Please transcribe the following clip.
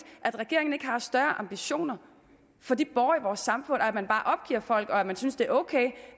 at regeringen ikke har større ambitioner for de borgere i vores samfund og at man bare opgiver folk og synes det er ok